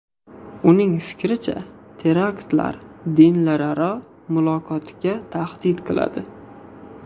Uning fikricha, teraktlar dinlararo muloqotga tahdid qiladi.